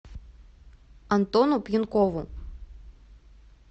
антону пьянкову